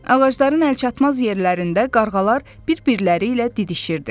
Ağacların əlçatmaz yerlərində qarğalar bir-birləri ilə didişirdi.